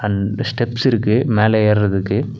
And steps இருக்கு மேல ஏறதுக்கு.